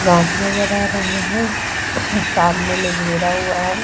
घास नजर आ रहा है। सामने में घेरा हुआ है।